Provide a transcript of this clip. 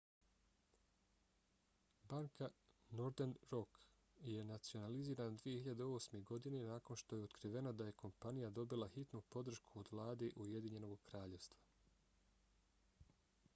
banka northern rock je nacionalizirana 2008. godine nakon što je otkriveno da je kompanija dobila hitnu podršku od vlade ujedinjenog kraljevstva